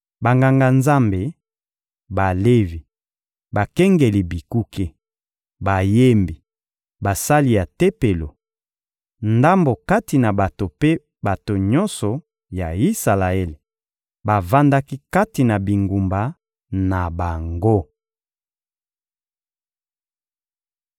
Banganga-Nzambe, Balevi, bakengeli bikuke, bayembi, basali ya Tempelo, ndambo kati na bato mpe bato nyonso ya Isalaele bavandaki kati na bingumba na bango.